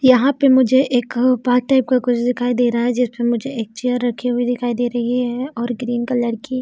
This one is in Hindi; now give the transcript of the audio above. यहाँ पे मुझे एक पथ टाइप का कुछ दिखाई दे रहा है जिसपे मुझे एक चेयर रखी हुई दिखाई दे रही है और ग्रीन कलर की--